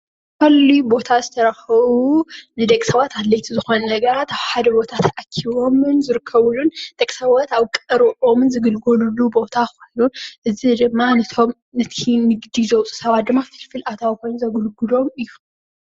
ብቐሊሉ ቦታ ዝተረኸቡ ንደቂ ሰባት ኣድለይቲ ዝኾኑ ነገራት ኣብ ሓደ ቦታ ኣብ ሓደ ቦታ ተኣኪቦም ዝርከቡሉን ደቂ ሰባት ኣብ ቀርብኦም ዝግልገልሉ ቦታ ኮይኑ እዚ ድማ ነቲ ንግዲ ዘውፅኡ ሰባት ፍልፍል ኣታዊ ኮይኑ ዘገልግሎም እዩ::